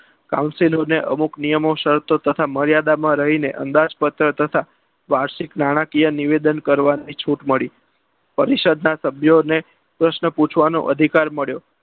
counsilo ને અમુક નિયમો શરતો તથા મર્યાદામાં રહીને અંદાજપત્ર તથા વાર્ષિક નાણાકીય નિવેદન કરવાની છૂટ મળી. પરિષદના સભ્યોને પ્રશ્ન પૂછવાનો અધિકાર મળ્યો.